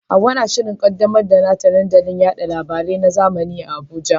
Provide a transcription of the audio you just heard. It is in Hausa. Hawwa na shirin kaddamar da nata dandalin yada labarai na zamani a Abuja.